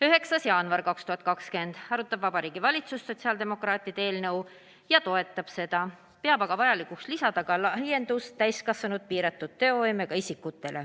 9. jaanuar 2020 – Vabariigi Valitsus arutab sotsiaaldemokraatide eelnõu ja toetab seda, peab aga vajalikuks lisada ka laiendus, et see võimalus oleks ka piiratud teovõimega täiskasvanutel.